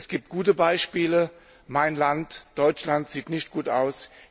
Es gibt gute Beispiele, aber mein Land, Deutschland, sieht nicht gut aus.